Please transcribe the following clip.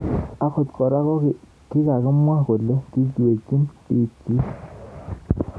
Angot kora kokimwaa kole kiiywei piik. chiik